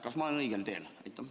Kas ma olen õigel teel?